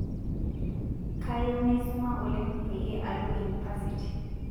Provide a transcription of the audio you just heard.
Kayieu naisoma oleng payie alo inipasiti